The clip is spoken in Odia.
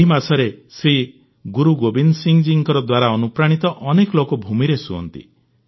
ଏହି ମାସରେ ଶ୍ରୀ ଗୁରୁ ଗୋବିନ୍ଦ ସିଂ ଜୀଙ୍କ ଦ୍ୱାରା ଅନୁପ୍ରାଣିତ ଅନେକ ଲୋକ ଭୂମିରେ ଶୁଅନ୍ତି